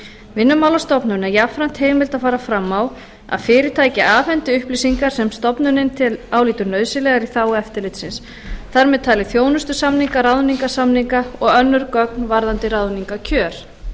vinnumálastofnun er jafnframt heimilt að fara fram á að fyrirtæki afhendi upplýsingar sem stofnunin álítur nauðsynlegar í þágu eftirlitsins þar með talin þjónustusamninga ráðningarsamninga og önnur gögn varðandi ráðningarkjör